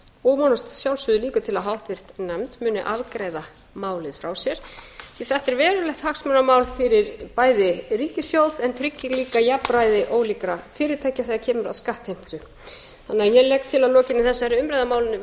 og vonast að sjálfsögðu líka til að háttvirt nefnd muni afgreiða málið frá sér því að þetta er verulegt hagsmunamál fyrir bæði ríkissjóð en tryggir líka jafnræði ólíkra fyrirtækja þegar kemur að skattheimtu þannig að